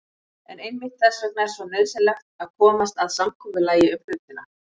En einmitt þess vegna er svo nauðsynlegt að komast að samkomulagi um hlutina.